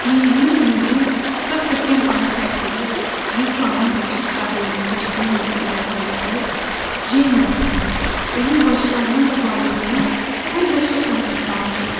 Mindiyi limuzin Saska Kempəni tərk edib Vislanın qarşı sahilinə keçdiyi müddət ərzində o, Jenyanın da, onun bacılarının da varlığını hər vəclə unutmağa çalışırdı.